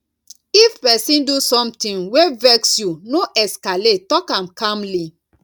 if person do something wey vex you no escalate talk am calmly